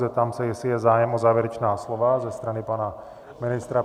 Zeptám se, jestli je zájem o závěrečná slova ze strany pana ministra?